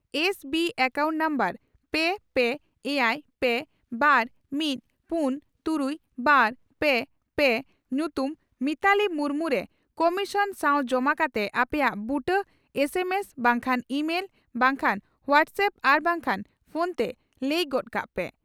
S B account number ᱯᱮ, ᱯᱮ ,ᱮᱭᱟᱭ ᱯᱮ ,ᱵᱟᱨ ᱢᱤᱛ ,ᱯᱩᱱ ᱛᱩᱨᱩᱭ ,ᱵᱟᱨ ᱯᱮ ,ᱯᱮ ᱧᱩᱛᱩᱢ ᱼᱢᱤᱛᱟᱞᱤ ᱢᱩᱨᱢᱩ ) ᱨᱮ ᱠᱚᱢᱤᱥᱚᱱ ᱥᱟᱶ ᱡᱚᱢᱟ ᱠᱟᱛᱮ ᱟᱯᱮᱭᱟᱜ ᱵᱩᱴᱟᱹ ᱮᱥ ᱮᱢ ᱮᱥ ᱵᱟᱝᱠᱷᱟᱱ ᱤᱢᱮᱞ ᱵᱟᱝᱠᱷᱟᱱ ᱦᱚᱣᱟᱴᱥᱮᱯ ᱟᱨ ᱵᱟᱝᱠᱷᱟᱱ ᱯᱷᱚᱱᱛᱮ ᱞᱟᱹᱭ ᱜᱚᱫ ᱠᱟᱜ ᱯᱮ ᱾